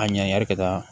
A ɲangi ka taa